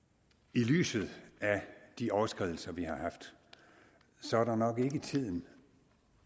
i lyset af de overskridelser vi har haft så er det nok ikke tiden